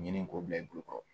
Ɲinɛn k'o bila i bolo